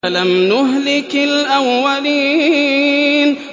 أَلَمْ نُهْلِكِ الْأَوَّلِينَ